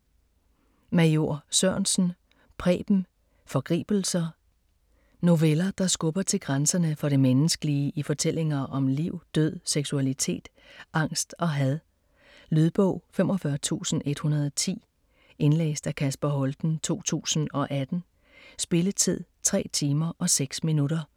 Major Sørensen, Preben: Forgribelser Noveller, der skubber til grænserne for det menneskelige i fortællinger om liv, død, seksualitet, angst og had. Lydbog 45110 Indlæst af Kasper Holten, 2018. Spilletid: 3 timer, 6 minutter.